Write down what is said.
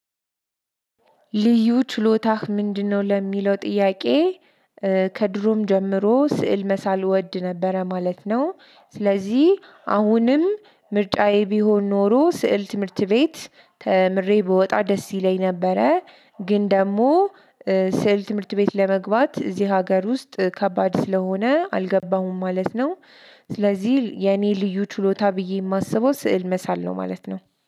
ልዩ ችሎታህ ምንድነው ለሚለው ጥያቄ? ከድሮም ጀምሮ ስዕል መሳል ወድ ነበረ ማለት ነው። ስለዚህ አሁንም ምርጫዬ ቢሆን ኖሮ ስዕል ትምህርት ቤት ተምሬ ብወጣ ደስ ይለኝ ነበረ። ግን ደግሞ ስዕል ትምህርት ቤት ለመግባት እዚህ ሀገር ውስጥ ከባድ ስለሆነ አልገባሁም ማለት ነው። ስለዚህ የኔ ልዩ ችሎታ ብዬ የማስበው ስዕል መሳል ነው ማለት ነው።